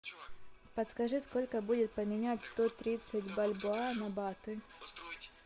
подскажи сколько будет поменять сто тридцать бальбоа на баты